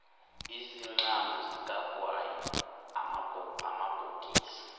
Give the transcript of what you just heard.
izinqamu zikagwayi amabhokisi